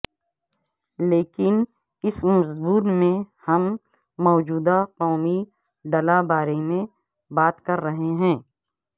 لیکن اس مضمون میں ہم موجودہ قومی ڈلا بارے میں بات کر رہے ہیں